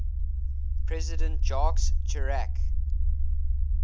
president jacques chirac